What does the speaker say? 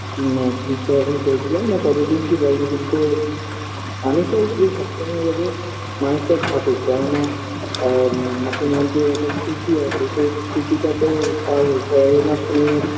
ম আ চিকিৎসা এখন চলছে জানিনা কতদিন কি বাজবে কিন্তু আমি চাই যে সব সময় যাতে মানুষটা থাকুক কেননা আ ঠাকুমার যে একটা স্মৃতি আছে সেই স্মৃতিটা তো আর সবারে মাঝখানে